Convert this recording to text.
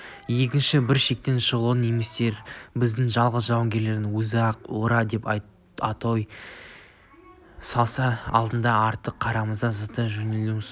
екінші бір шектен шығушылық немістерді біздің жалғыз жауынгеріміздің өзі-ақ ура деп атой салса алды-артына қарамай зыта жөнелетін су